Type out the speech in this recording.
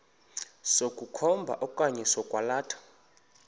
sokukhomba okanye sokwalatha